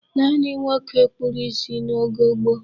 Naanị ụmụnwoke kpụrụ isi n'oge gboo.